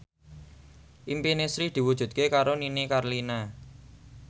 impine Sri diwujudke karo Nini Carlina